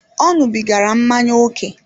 Ọ ñubigara mmanya ókè